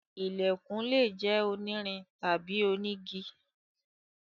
Ilẹ̀kùn lè jẹ́ onírin tàbí onígi.